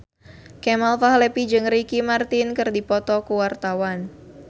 Kemal Palevi jeung Ricky Martin keur dipoto ku wartawan